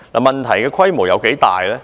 問題的規模有多大呢？